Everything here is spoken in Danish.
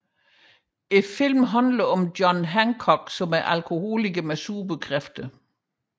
Filmen handler om John Hancock som er en alkoholiker med superkræfter